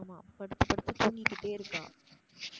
படுத்து தூங்கிகிட்டே இருக்கா.